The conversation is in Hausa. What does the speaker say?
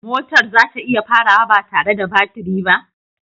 Motar za ta iya farawa ba tare da baturi ba?